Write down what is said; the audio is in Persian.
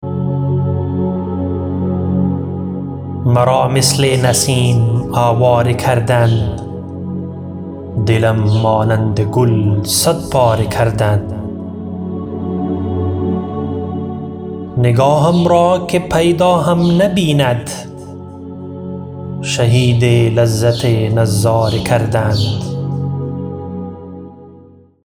مرا مثل نسیم آواره کردند دلم مانند گل صد پاره کردند نگاهم را که پیدا هم نبیند شهید لذت نظاره کردند